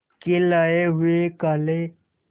के लाए हुए काले